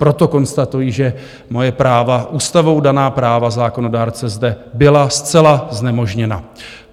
Proto konstatuji, že moje práva, ústavou daná práva zákonodárce, zde byla zcela znemožněna.